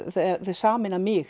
sameina mig